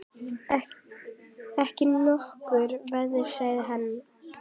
Ekki nokkur vafi sagði hann.